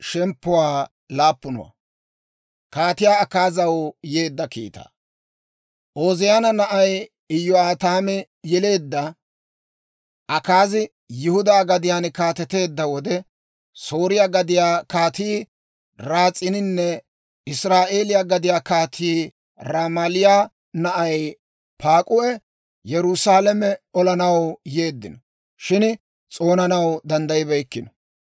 Ooziyaana na'ay Iyo'aataami yeleedda Akaazi Yihudaa gadiyaan kaateteedda wode, Sooriyaa gadiyaa Kaatii Ras'iininne Israa'eeliyaa gadiyaa Kaatii Ramaaliyaa na'ay Paak'uhi Yerusaalame olanaw yeeddino; shin s'oonanaw danddayibeykkino.